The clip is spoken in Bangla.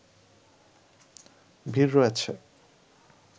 ভিড় রয়েছে